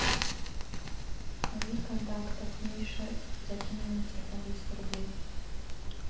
найди в контактах миша закинь ему на телефон двести рублей